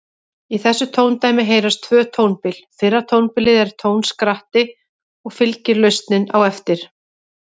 Í þessu tóndæmi heyrast tvö tónbil, fyrra tónbilið er tónskratti og fylgir lausnin á eftir.